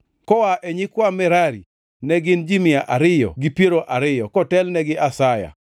koa e nyikwa Merari, ne gin ji mia ariyo gi piero ariyo kotelnegi gi Asaya,